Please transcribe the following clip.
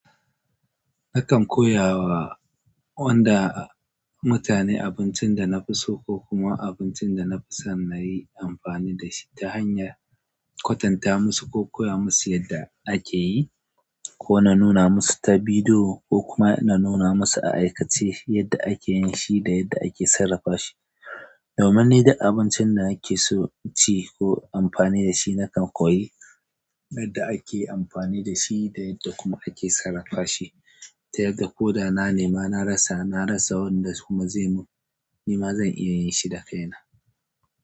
Nakan koya wa wanda mutane abincin da na fi so ko kuma abincin da na fi son na yi amfani da shi ta hanyar kwatanta musu ko koya musu yadda ake yi ko na nuna musu ta bidiyo ko kuma na nuna musu a aikace yadda ake yin shi da yadda ake sarrafa shi. Domin ne da abincin da ake so ci ko amfani da shi nakan koyi yadda ake amfani da shi da yadda kuma ake sarrafa shi ta yadda ko da na nema na rasa, na rasa wanda kuma zai mun ni ma zan iya yin shi da kaina.